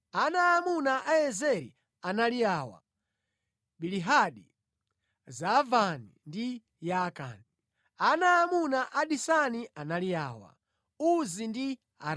Ana aamuna a Ezeri anali awa: Bilihani, Zaavani ndi Yaakani. Ana aamuna a Disani anali awa: Uzi ndi Arani.